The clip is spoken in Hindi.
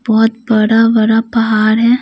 बहुत बड़ा बड़ा पहाड़ है।